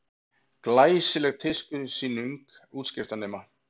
Glæsileg tískusýning útskriftarnema